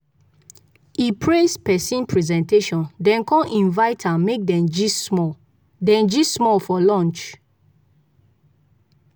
e praise person presentation then con invite am make dem gist small dem gist small for lunch.